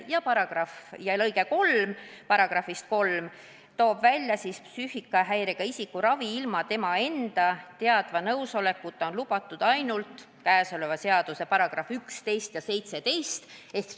" Ja § 3 lõige 3 toob välja: "Psüühikahäirega isiku ravi ilma tema enda teadva nõusolekuta on lubatud ainult käesoleva seaduse §-des 11 ja 17 sätestatud juhtudel.